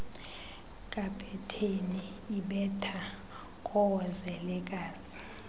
kapeteni ibetha koozelekazi